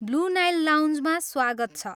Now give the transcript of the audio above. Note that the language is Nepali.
ब्लु नाइल लाउन्जमा स्वागत छ।